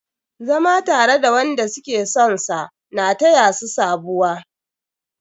Zama tare da wanda suke sonsa na taya su sabuwa.